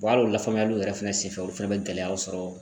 hali o la faamuyaliw yɛrɛ fɛnɛ senfɛ olu fɛnɛ be gɛlɛyaw sɔrɔ.